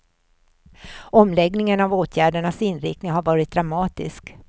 Omläggningen av åtgärdernas inriktning har varit dramatisk.